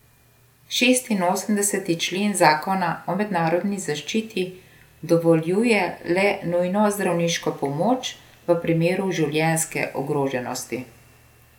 Šestinosemdeseti člen zakona o mednarodni zaščiti dovoljuje le nujno zdravniško pomoč v primeru življenjske ogroženosti.